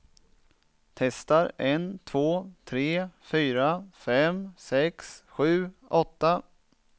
Testar en två tre fyra fem sex sju åtta.